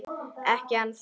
Ekki ennþá